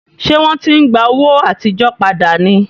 Ṣé wọ́n ti ń gba owó àtijọ́ padà ni?